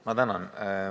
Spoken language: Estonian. Ma tänan!